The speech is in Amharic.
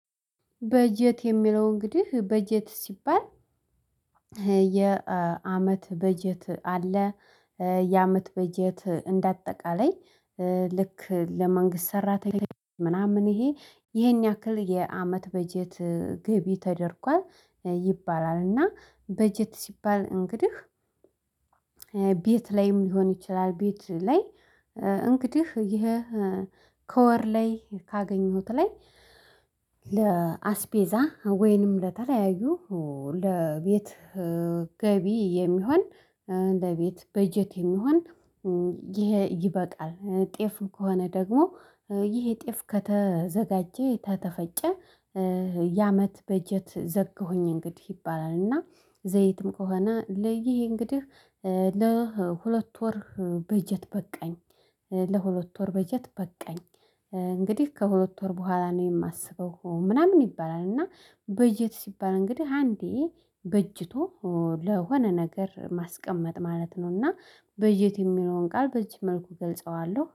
በጀት የሚለው እንግዲህ በጀት ሲባል የአመት በጀት አለ። የአመት በጀት እንደ አጠቃላይ ልክ ለመንግስት ሰራተኛ ምናምን ይሄ ይሄን ያክል የአመት በጀት ግቢ ተደርጓል ይባላል። እና በጀት ሲባል እንግዲህ ቤት ላይም ሊሆን ይችላል። ቤት ላይ እንግዲህ ይሄ ከወር ላይ ካገኘሁት ላይ ለአስፔዛ ወይንም ለተለያዩ ለቤት ገቢ የሚሆን ለቤት በጀት የሚሆን ይሄ ይበቃል። ጤፍ ከሆነ ደግሞ ይሄ ጤፍ ከተዘጋጀ ከተፈጨ ያመት በጀት ዘጋሁኝ እንግዲህ ይባላል። እና ዘይትም ከሆነ ለይህ እንግዲህ ለሁለት ወር በጀት በቃኝ። ለሁለት ወር በጀት በቃኝ። እንግዲህ ከሁለት ወር በኋላ ነው የማስበው ምናምን ይባላል። እና በጀት ሲባል እንግዲህ አንዴ በጅቶ ለሆነ ነገር ማስቀመጥ ማለት ነው። ነውና በጀት የሚለውን ቃል በዚህ መልኩ እገልጸዋለሁ